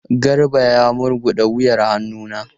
Garba ya murguda wuyan hannu na.